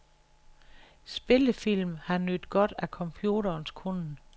Spillefilm har nydt godt af computerens kunnen.